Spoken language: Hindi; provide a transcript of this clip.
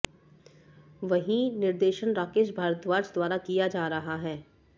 वहीं निर्देशन राकेश भारद्वाज द्वारा किया जा रहा है